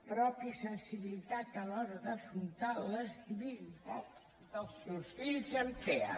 pròpia sensibilitat a l’hora d’afrontar l’estabilitat dels seus fills amb tea